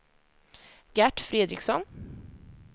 Gert Fredriksson